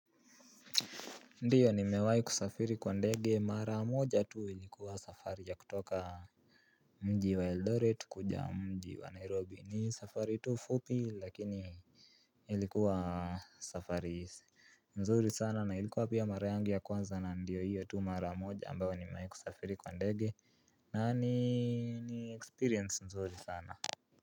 Ndiyo nimewahi kusafiri kwa ndege mara moja tu, ilikuwa safari ya kutoka mji wa eldoret kuja mji wa nairobi, ni safari tu fupi lakini ilikuwa safari mzuri sana na ilikuwa pia mara yangu ya kwanza na ndiyo hiyo tu mara moja ambayo ni mewahi kusafiri kwa ndege na ni experience mzuri sana.